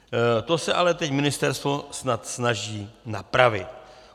To se ale teď ministerstvo snad snaží napravit.